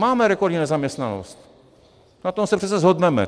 Máme rekordní nezaměstnanost, na tom se přece shodneme!